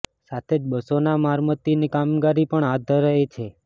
સાથે જ બસોના મરમત્તની કામગીરી પણ હાથ ધરાઇ હતી